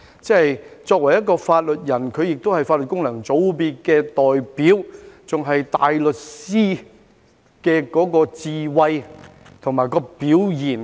他作為法律界人士，也是法律界功能界別的代表，還是大律師的智慧和表現。